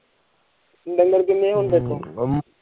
ਡੰਗਰ ਕੀਨੇ ਹੁਣ ਤੇਰੇਕੋ